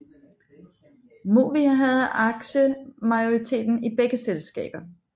Movia havde aktiemajoriteten i begge selskaber